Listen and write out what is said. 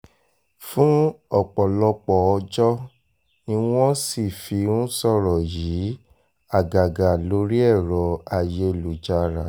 fún ọ̀pọ̀lọpọ̀ ọjọ́ ni wọ́n sì fi ń sọ̀rọ̀ yìí àgàgà lórí ẹ̀rọ ayélujára